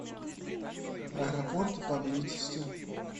аэропорты поблизости